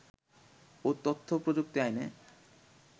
ও তথ্যপ্রযুক্তি আইনে